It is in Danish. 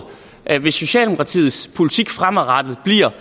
at hvis socialdemokratiets politik fremadrettet bliver